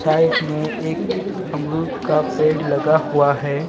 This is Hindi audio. साइड में एक अमरूद का पेड़ लगा हुआ है.